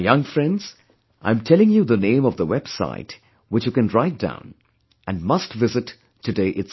My young friends, I'm telling you the name of the website which you can write down, and must visit today itself